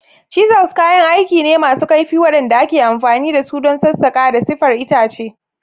Chisels kayan aiki ne masu kaifi waɗanda ake amfani da su don sassaƙa da siffar itace.